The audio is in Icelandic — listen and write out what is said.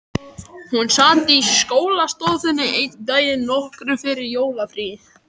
Hún sat í skólastofunni einn daginn, nokkru fyrir jólafríið.